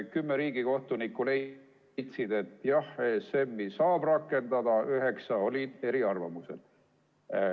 Kümme riigikohtunikku leidis, et jah, ESM-i saab rakendada, üheksa oli eriarvamusel.